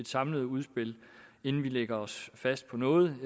samlet udspil inden vi lægger os fast på noget